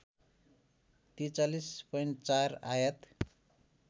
४३.४ आयात